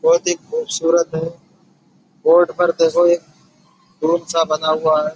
बहोत ही खूबसूरत है। बोर्ड पर देखो एक सा बना हुआ है।